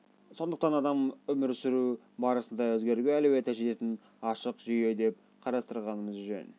сондықтан адамды өмір сүру барысында өзгеруге әлеуеті жететін ашық жүйе деп қарастырғанымыз жөн